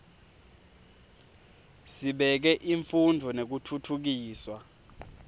sibeke imfundvo nekutfutfukiswa